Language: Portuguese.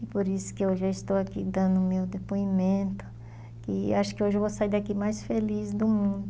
E por isso que eu já estou aqui dando o meu depoimento, e acho que hoje eu vou sair daqui mais feliz do mundo.